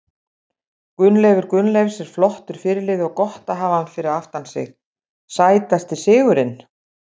Gunnleifur Gunnleifs er flottur fyrirliði og gott að hafa hann fyrir aftan sig Sætasti sigurinn?